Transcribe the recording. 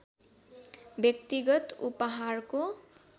व्यक्तिगत उपहारको